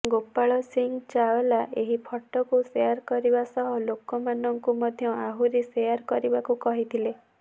ଗୋପାଲ ସିଂ ଚାୱଲା ଏହି ଫଟୋକୁ ସେୟାର କରିବା ସହ ଲୋକମାନଙ୍କୁ ମଧ୍ୟ ଆହୁରି ସେୟାର କରିବାକୁ କହିଥିଲେ